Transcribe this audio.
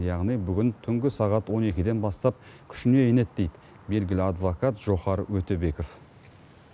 яғни бүгін түнгі сағат он екіден бастап күшіне енеді дейді белгілі адвокат жохар өтебеков